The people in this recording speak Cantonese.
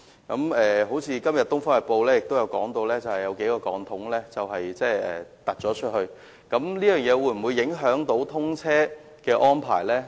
今天《東方日報》報道人工島有數個鋼筒向外伸延，我們非常關注這會否影響大橋的通車安排。